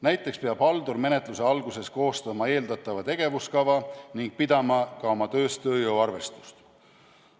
Näiteks peab haldur menetluse alguses koostama eeldatava tegevuskava ning pidama ka oma töös tööjõuarvestust.